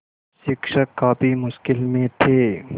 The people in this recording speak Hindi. शिक्षक काफ़ी मुश्किल में थे